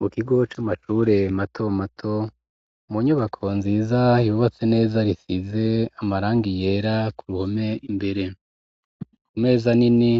Mu kigo c'amacure mato mato mu nyubako nziza yubatse neza risize amaranga iyera ku ruhome imbere ku meza nini